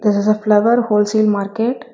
This is a flower wholesale market.